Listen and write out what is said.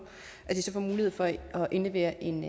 så får mulighed for at indlevere en